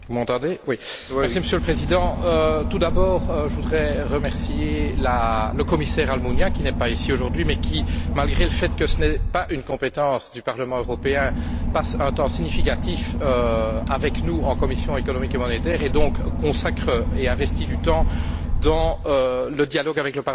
Monsieur le Président, tout d'abord je voudrais remercier le Commissaire Almunia, qui n'est pas ici aujourd'hui, mais qui, malgré le fait que ce ne soit pas une compétence du Parlement européen, passe un temps significatif avec nous en commission économique et monétaire et donc consacre et investit du temps dans le dialogue avec le Parlement sur ces matières.